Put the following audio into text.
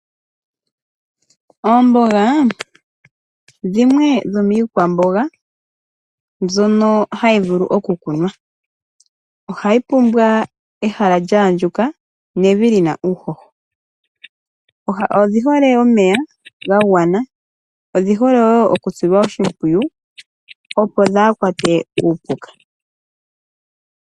Oomboga dhimwe dhomiikwamboga mbyono hayi vulu okukunwa. Ohayi pumbwa ehala lya andjuka nevi li na uuhoho. Odhi hole omeya ga gwana. Odhi hole wo okusilwa oshimpwiyu, opo dhaa kwatwe kuupuka.